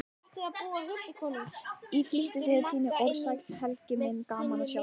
Í flýti tíni ég saman orð: Sæll Helgi, gaman að sjá þig